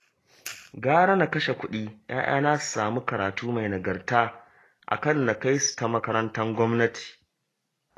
Gara na kashe kuɗi 'ya'yana su samu karatu mai nagarta, a kan na kai su ta makarantar gwamnati